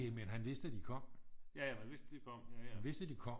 Næ men han vidste at de kom han vidste at de kom